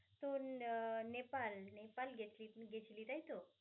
তুই ন~ নেপাল নেপাল গেছিলি তুই গেছিলি তাইতো?